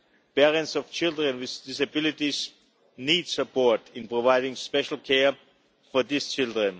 Parents of children with disabilities need support in providing special care for these children.